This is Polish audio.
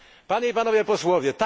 Panie i Panowie Posłowie!